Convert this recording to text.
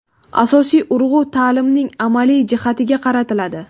Asosiy urg‘u ta’limning amaliy jihatiga qaratiladi.